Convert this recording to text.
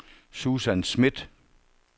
Susan Smith